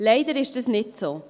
Leider ist dies nicht so.